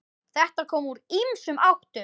Þetta kom úr ýmsum áttum.